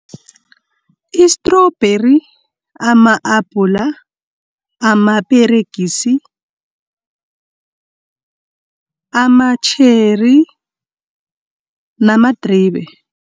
I-strubheri, ama-apula, amaperegisi, ama-cherry namadribe.